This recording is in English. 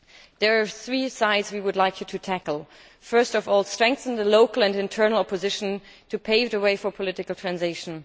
There are three issues we would like you to tackle. First of all, strengthen the local and internal opposition to pave the way for political transition.